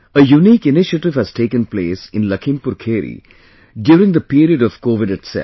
A unique initiative has taken place in LakhimpurKheri during the period of COVID itself